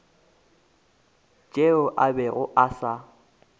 tšeo a bego a sa